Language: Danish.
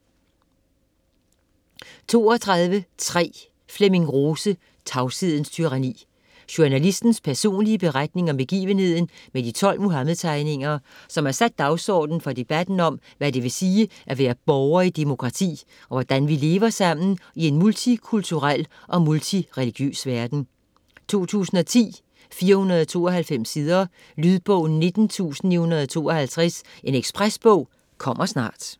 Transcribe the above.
32.3 Rose, Flemming: Tavshedens tyranni Journalistens personlige beretning om begivenheden med de 12 Muhammed-tegninger, som har sat dagsordenen for debatten om, hvad det vil sige at være borger i et demokrati, og hvordan vi lever sammen i en multikulturel og multireligiøs verden. 2010, 492 sider. Lydbog 19952 Ekspresbog - kommer snart